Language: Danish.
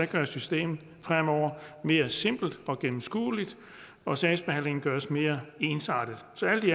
gøres systemet fremover mere simpelt og gennemskueligt og sagsbehandlingen gøres mere ensartet så alt i